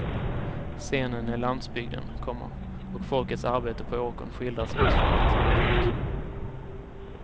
Scenen är landsbygden, komma och folkets arbete på åkern skildras utförligt. punkt